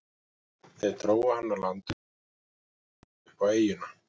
Þeir drógu hann á land undir klettunum og gengu upp á eyjuna.